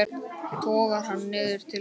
Togar hann niður til sín.